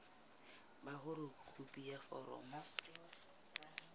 ba hore khopi ya foromo